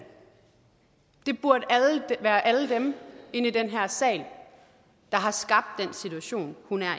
det burde være alle dem inde i den her sal der har skabt den situation hun er